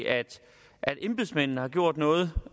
at embedsmændene har gjort noget